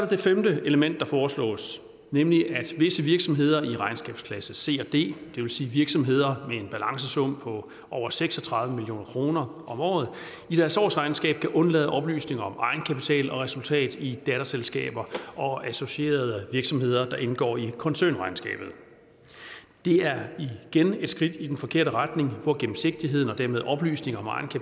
det femte element der foreslås nemlig at visse virksomheder i regnskabsklasse c og d det vil sige virksomheder med en balancesum på over seks og tredive million kroner om året i deres årsregnskab kan undlade oplysninger om egenkapital og resultat i datterselskaber og associerede virksomheder der indgår i koncernregnskabet det er igen et skridt i den forkerte retning hvor gennemsigtigheden og dermed oplysninger